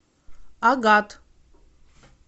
агат